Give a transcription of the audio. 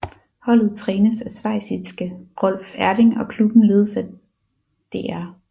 Holdet trænes af schweiziske Rolf Erdin og klubben ledes af Dr